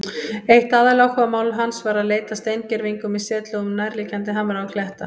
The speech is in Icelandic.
Eitt aðaláhugamál hans var að leita að steingervingum í setlögum nærliggjandi hamra og kletta.